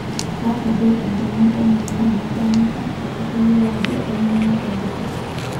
Kata duo endungon omayai nedanyu kake atayiolo ajo anyangua tolduka.